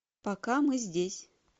пока мы здесь